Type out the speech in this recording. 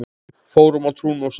Fórum á trúnó saman.